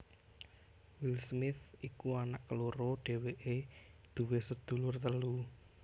Will Smith iku anak keloro dhéwéké duwé sedulur telu